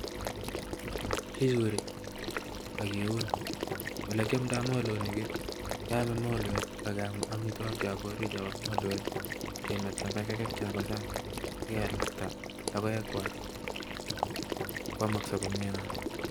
Kichuriii ageuun olekyamdai molonin kichuri ageam kiistai mogotyeet Nepo sang anyinyeen neaa